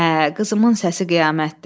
Hə, qızımın səsi qiyamətdir.